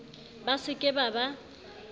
ba se ke ba ba